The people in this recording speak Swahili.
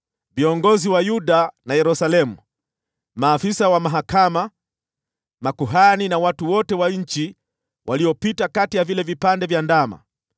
Viongozi wa Yuda na Yerusalemu, maafisa wa mahakama, makuhani na watu wote wa nchi waliopita kati ya vile vipande vya ndama,